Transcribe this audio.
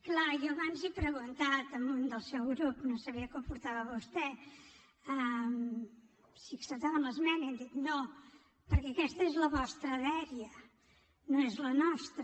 clar jo abans he preguntat a un del seu grup no sabia que ho portava vostè si acceptaven l’esmena i han dit no perquè aquesta és la vostra dèria no és la nostra